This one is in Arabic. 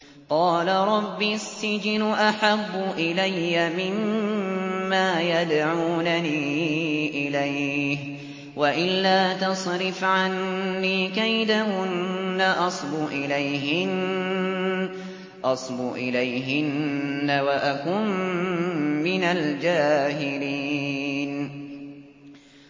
قَالَ رَبِّ السِّجْنُ أَحَبُّ إِلَيَّ مِمَّا يَدْعُونَنِي إِلَيْهِ ۖ وَإِلَّا تَصْرِفْ عَنِّي كَيْدَهُنَّ أَصْبُ إِلَيْهِنَّ وَأَكُن مِّنَ الْجَاهِلِينَ